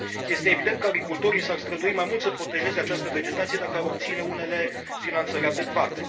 Este evident că agricultorii s ar strădui mai mult să protejeze această vegetație dacă ar obține unele finanțări adecvate.